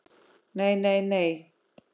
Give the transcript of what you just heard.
NEI, NEI, NEI.